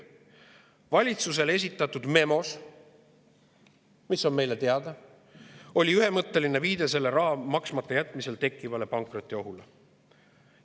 Valitsusele esitatud memos, mis on meile teada, oli ühemõtteline viide selle raha maksmata jätmisel tekkivale pankrotiohule.